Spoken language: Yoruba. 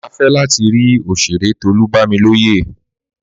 Má fẹ lati ri òṣèré Tolu Bamiloye